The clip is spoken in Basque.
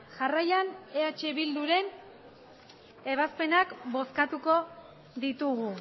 jarraian eh bildu ren ebazpenak bozkatuko ditugu